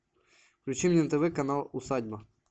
включи мне на тв канал усадьба